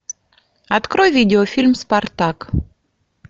открой видеофильм спартак